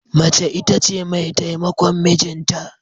Mace ita ce mai taimakon mijinta.